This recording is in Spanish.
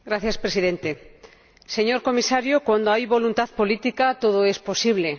Señor Presidente, señor Comisario, cuando hay voluntad política todo es posible.